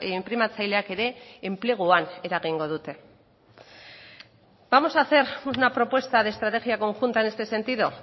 inprimatzaileak ere enpleguan eragingo dute vamos a hacer una propuesta de estrategia conjunta en este sentido